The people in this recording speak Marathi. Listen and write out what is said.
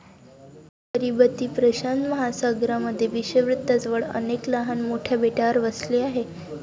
किरीबती प्रशांत महासागरामध्ये विषुववृत्ताजवळ अनेक लहान मोठ्या बेटावर वसले आहे.